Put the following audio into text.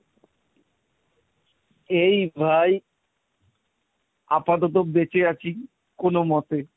এই ভাই আপাতত বেঁচে আছি কোনোমতে।